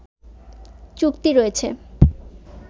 চুক্তি রয়েছে